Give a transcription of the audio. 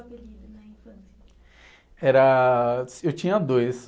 Era... Eu tinha dois.